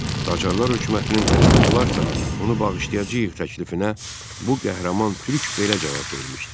Qacarlar hökumətinin təslim olarsa, onu bağışlayacağıq təklifinə bu qəhrəman Türk belə cavab vermişdi: